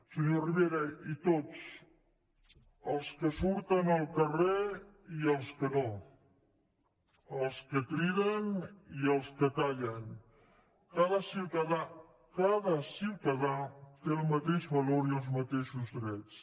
senyor rivera i tots els que surten al carrer i els que no els que criden i els que callen cada ciutadà cada ciutadà té el mateix valor i els mateixos drets